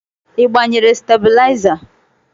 Ị gbanyere stabilizer?